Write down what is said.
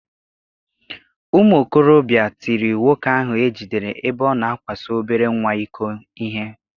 Ụmụ okorobịa tiri nwoke ahụ e jidere ebe ọ na akwaso obere nwa iko ihe.